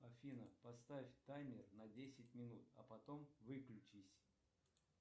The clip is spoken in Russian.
афина поставь таймер на десять минут а потом выключись